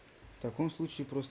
в таком